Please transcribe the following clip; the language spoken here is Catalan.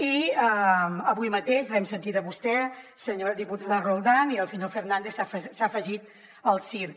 i avui mateix l’hem sentit a vostè senyora diputada roldán i el senyor fernández s’ha afegit al circ